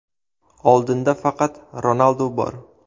Oldinda faqat Ronaldu bor.